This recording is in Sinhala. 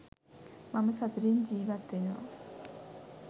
මම සතුටින් ජීවත් වෙනවා.